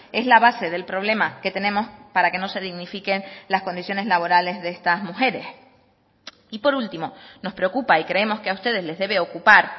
es la base del problema que tenemos para que no se dignifiquen las condiciones laborales de estas mujeres y por último nos preocupa y creemos que a ustedes les debe ocupar